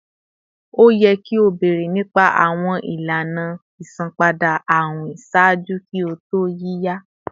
O yẹ ki o beere nipa awọn ilana isanpada awin ṣaaju ki o to yiya!